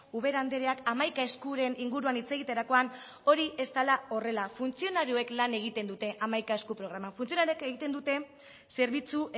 ubera andereak hamaika eskuren inguruan hitz egiterakoan hori ez dela horrela funtzionarioek lan egiten dute hamaika esku programan funtzionarioek egiten dute zerbitzu